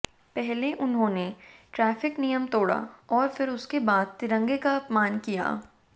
पहले उन्होंने ट्रैफिक नियम तोड़ा और फिर उसके बाद तिरंगे का अपमान किया